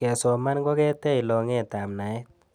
kesoman koketech longet ap naet